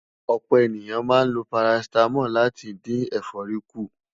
ọ̀pọ̀ ènìyàn máa ń ló paracetamol láti dín éfòrí kù